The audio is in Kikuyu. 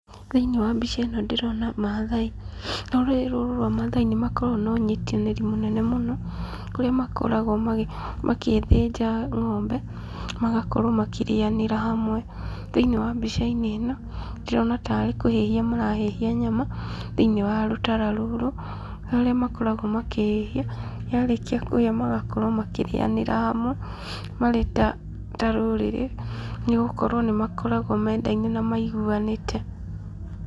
Thĩiniĩ wa mbica ĩno ndĩrona mathai. Rũrĩrĩ rũrũ rwa mathai nĩ makoragwo na ũnyitanĩri mũnene mũno, kũrĩa makoragwo magĩthĩnja ng'ombe, magakorwo makĩrĩanĩra hamwe. Thĩinĩ wa mbica-inĩ ĩno, ndĩrona tarĩ kũhĩhia marahĩhia nyama thĩinĩ wa rũtara rũrũ, harĩa makoragwo makĩhĩhia, yarĩkia kũhĩa magakorwo makĩrĩanĩra hamwe marĩ ta ta rũrĩrĩ, nĩgũkorwo nĩ makoragwo mendaine na maiguanĩte.